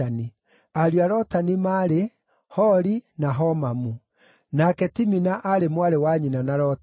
Ariũ a Lotani maarĩ: Hori na Homamu. Nake Timina aarĩ mwarĩ wa nyina na Lotani.